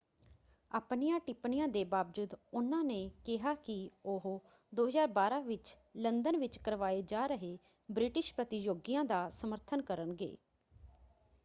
ਆਪਣੀਆਂ ਟਿੱਪਣੀਆਂ ਦੇ ਬਾਵਜੂਦ ਉਹਨਾਂ ਨੇ ਕਿਹਾ ਕਿ ਉਹ 2012 ਵਿੱਚ ਲੰਦਨ ਵਿੱਚ ਕਰਵਾਏ ਜਾ ਰਹੇ ਬ੍ਰਿਟਿਸ਼ ਪ੍ਰਤਿਯੋਗੀਆਂ ਦਾ ਸਮਰਥਨ ਕਰਨਗੇ।